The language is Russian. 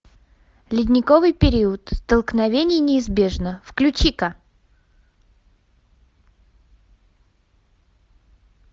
ледниковый период столкновение неизбежно включи ка